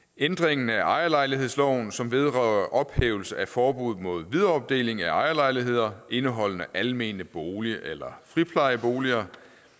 ændringen af ejerlejlighedsloven som vedrører ophævelse af forbuddet mod videreopdeling af ejerlejligheder indeholdende almene boliger eller friplejeboliger